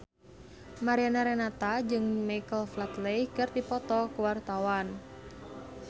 Mariana Renata jeung Michael Flatley keur dipoto ku wartawan